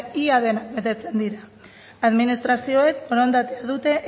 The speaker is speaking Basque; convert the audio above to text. ia denak betetzen dira administrazioek borondatea dute